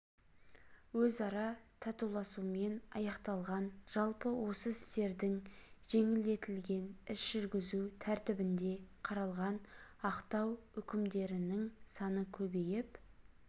өзара татуласуымен аяқталған жалпы осы істердің жеңілдетілген іс жүргізу тәртібінде қаралған ақтау үкімдерінің саны көбейіп